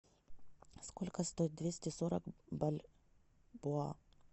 сколько стоит двести сорок бальбоа